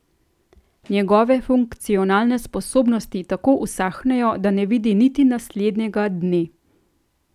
Njegove funkcionalne sposobnosti tako usahnejo, da ne vidi niti naslednjega dne.